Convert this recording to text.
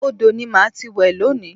Odò ni màá ti wẹ̀ lónìí